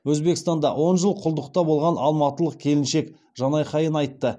өзбекстанда он жыл құлдықта болған алматылық келіншек жанайқайын айтты